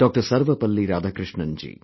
SarvapalliRadhakrishnanji